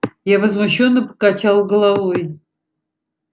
я возмущённо покачал головой